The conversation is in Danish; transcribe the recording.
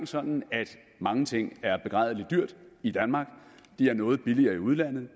sådan at mange ting er begrædelig dyrt i danmark det er noget billigere i udlandet og